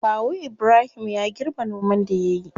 Kawu ibrahim ya girbe noman da yayi.